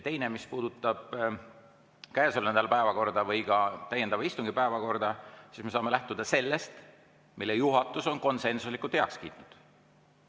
Teiseks, mis puudutab käesoleva nädala päevakorda või ka täiendava istungi päevakorda, siis me saame lähtuda sellest, mille juhatus on konsensuslikult heaks kiitnud.